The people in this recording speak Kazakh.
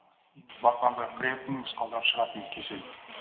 батпандап кіретін мысқалдап шығатын кесел